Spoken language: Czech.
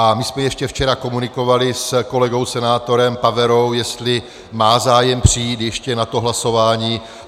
A my jsme ještě včera komunikovali s kolegou senátorem Paverou, jestli má zájem přijít ještě na to hlasování.